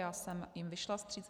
Já jsem jim vyšla vstříc.